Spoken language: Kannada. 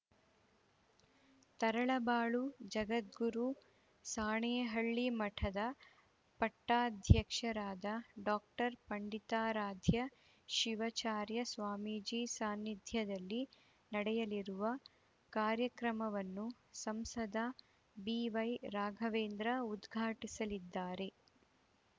ತರಳಬಾಳು ಜಗದ್ಗುರು ಸಾಣೆಹಳ್ಳಿ ಮಠದ ಪಟ್ಟಾಧ್ಯಕ್ಷರಾದ ಡಾಕ್ಟರ್ ಪಂಡಿತಾರಾಧ್ಯ ಶಿವಚಾರ್ಯ ಸ್ವಾಮೀಜಿ ಸಾನ್ನಿಧ್ಯದಲ್ಲಿ ನಡೆಯಲಿರುವ ಕಾರ್ಯಕ್ರಮವನ್ನು ಸಂಸದ ಬಿವೈ ರಾಘವೇಂದ್ರ ಉದ್ಘಾಟಿಸಲಿದ್ದಾರೆ